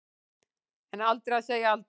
En aldrei að segja aldrei.